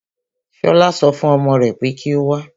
Ṣọlá so fún ọmọ rè pé kí o wá.